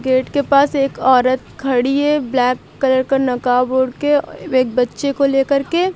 Gate के पास एक औरत खड़ी है। ब्लैक कलर का नकाब ओढ़ेके औ एक बच्चे को ले करके।